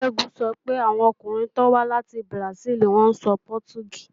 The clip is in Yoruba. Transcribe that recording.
Ṣẹ́gun sọ pé àwọn ọkùnrin tó wá láti Bùràsíìlì ń sọ Pọtugí